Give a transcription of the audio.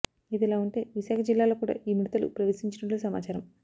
ఇదిలా ఉంటే విశాఖ జిల్లాలో కూడా ఈ మిడతలు ప్రవేశించినట్లు సమాచారం